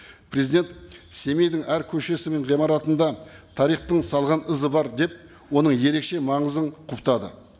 президент семейдің әр көшесі мен ғимаратында тарихтың салған ізі бар деп оның ерекше маңызын құптады